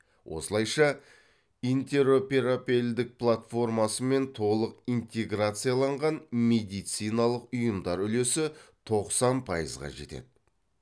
осылайша интероперабелдік платформасымен толық интеграцияланған медициналық ұйымдар үлесі тоқсан пайызға жетеді